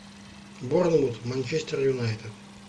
борнмут манчестер юнайтед